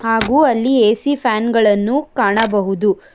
ಹಾಗೂ ಅಲ್ಲಿ A C fan ಗಳನ್ನು ಕಾಣಬಹುದು.